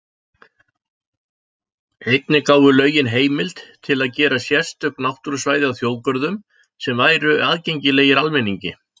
Einnig gáfu lögin heimild til að gera sérstök náttúrusvæði að þjóðgörðum sem væru aðgengilegir almenningi.